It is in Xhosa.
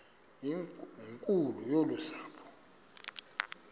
nkulu yolu sapho